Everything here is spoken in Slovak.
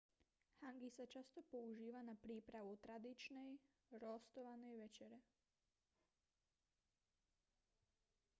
hangi sa často používa na prípravu tradičnej roastovanej večere